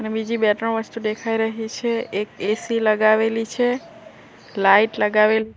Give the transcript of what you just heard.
બીજી બે ત્રણ વસ્તુ દેખાય રહી છે એક એ_સી લગાવેલી છે લાઈટ લગાવેલી--